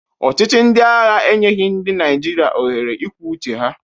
Ọchịchị ndị agha enyeghị ndị Naịjirịa ohere ikwu uche ha.